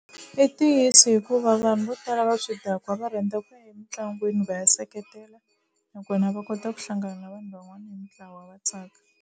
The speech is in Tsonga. I ntiyiso hikuva vanhu vo tala va swidakwa va rhandza ku ya emitlangwini va ya seketela nakona va kota ku hlangana na vanhu van'wana hi mitlawa va tsaka.